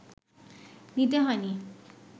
নিতে হয়নি